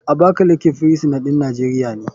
Abakaleke firisin ɗin nijeria ne.